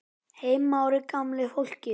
Heimir Már: Gamla fólkið?